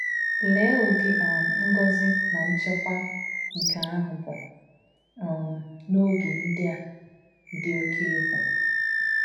Lee udi um ngọzi na nchekwa nke ahụ bụ um n’oge ndị a dị oké egwu um